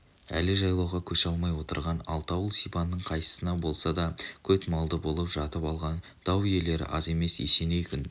әлі жайлауға көше алмай отырған алты ауыл сибанның қайсысына болса да көтмалды болып жатып алған дау иелері аз емес есеней күн